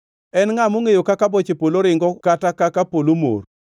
En ngʼa mongʼeyo kaka boche polo ringo, kata kaka polo mor?